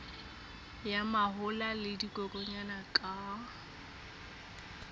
ya mahola le dikokwanyana ka